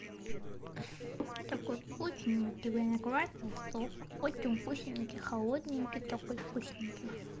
такой вкусненький виноградный сок очень вкусненький холодненький такой вкусненький